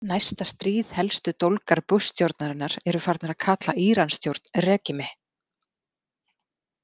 Næsta stríð Helstu dólgar Bushstjórnarinnar eru farnir að kalla Íransstjórn „regime“.